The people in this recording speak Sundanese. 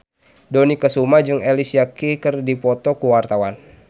Dony Kesuma jeung Alicia Keys keur dipoto ku wartawan